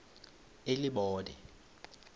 elibode